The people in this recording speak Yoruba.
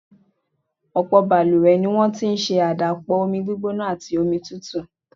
Ọ̀pọ̀ balùwẹ̀ ni wọ́n ti ń ṣe àdàpọ̀ omi gbígbóná àti omi tútù.